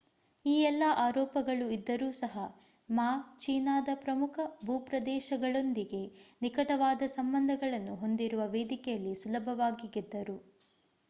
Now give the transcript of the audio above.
ಈ ಎಲ್ಲಾ ಆರೋಪಗಳು ಇದ್ದರೂ ಸಹ ಮಾ ಚೀನಾದ ಪ್ರಮುಖ ಭೂಪ್ರದೇಶದೊಂದಿಗೆ ನಿಕಟವಾದ ಸಂಬಂಧಗಳನ್ನು ಹೊಂದಿರುವ ವೇದಿಕೆಯಲ್ಲಿ ಸುಲಭವಾಗಿ ಗೆದ್ದರು